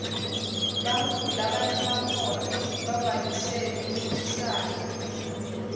bantfu labanemakhono bavamise kuncintisana